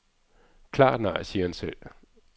Klart nej, siger han selv.